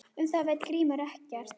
Um það veit Grímur ekkert.